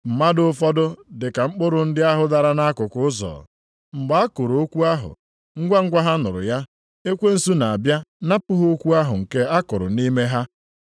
Mmadụ ụfọdụ dị ka mkpụrụ ndị ahụ dara nʼakụkụ ụzọ, ebe a kụrụ okwu ahụ. Ngwangwa ha nụrụ ya, ekwensu na-abịa napụ ha okwu ahụ nke a kụrụ nʼime ha.